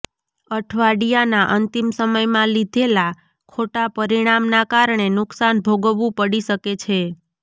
અઠવાડિયાના અંતિમ સમયમાં લીધેલા ખોટા પરિણામના કારણે નુકસાન ભોગવવું પડી શકે છે